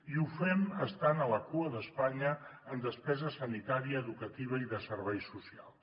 i ho fem estant a la cua d’espanya en despesa sanitària educativa i de serveis socials